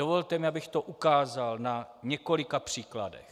Dovolte mi, abych to ukázal na několika příkladech.